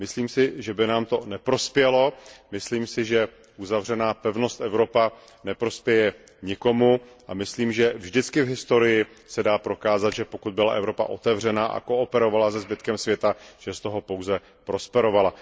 Myslím si, že by nám to neprospělo, myslím si, že uzavřená pevnost Evropa neprospěje nikomu, a myslím, že vždycky v historii se dá prokázat, že pokud byla Evropa otevřená a kooperovala se zbytkem světa, že z toho pouze prosperovala.